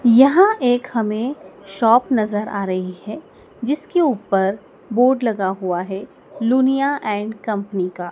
यहां एक हमें शॉप नजर आ रही है जिसके ऊपर बोर्ड लगा हुआ है लुनिया एंड कंपनी का